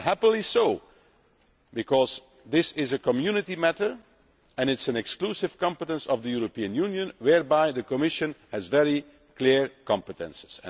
And happily so, because this is a Community matter and it is an exclusive competence of the European Union whereby the Commission has very clear competences.